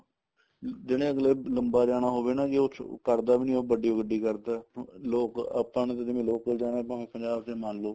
ਜਿਹੜੇ ਅੱਗਲੇ ਨੇ ਲੰਬਾ ਜਾਣਾ ਹੋਵੇ ਉਹ ਕਰਦਾ ਵੀ ਨੀ ਉਹ ਵੱਡੀ ਗੱਡੀ ਕਰਦਾ ਲੋਕ ਆਪਾਂ ਨੇ ਤਾਂ ਜਿਵੇਂ local ਜਾਣਾ ਭਾਵੇਂ ਪੰਜਾਬ ਚ ਹੀ ਮੰਨਲੋ